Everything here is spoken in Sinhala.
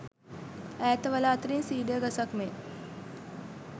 ඈත වළා අතරින් සීඩර් ගසක් මෙන්